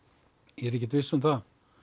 ég er ekkert viss um það